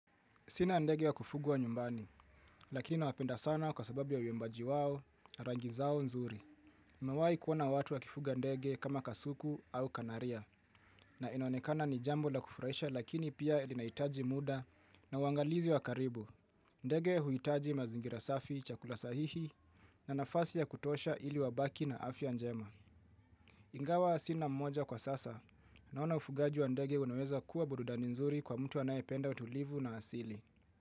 Sina ndege wa kufugwa nyumbani, lakini na wapenda sana kwa sababu ya uimbaji wao, rangi zao nzuri. Mawai kuona watu wa kifuga ndege kama kasuku au kanaria, na inonekana ni jambo la kufurahisha lakini pia linaitaji muda na uangalizi wa karibu. Ndege huitaji mazingira safi, chakula sahihi, na nafasi ya kutosha ili wabaki na afya njema. Ingawa sina mmoja kwa sasa, naona ufugaji wa ndege unaweza kuwa burudani nzuri kwa mtu anayependa utulivu na asili.